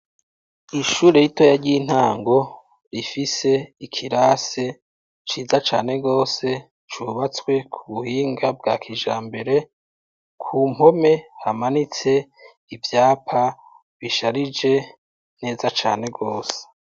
Ishure ritoya ry'intango rifise ikirase ciza cane gose cubatswe kubuhinga bwa kijambere kumpome hamanitse ivyapa bisharije neza cane gose.